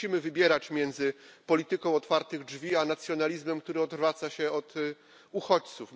Nie musimy wybierać między polityką otwartych drzwi a nacjonalizmem, który odwraca się od uchodźców.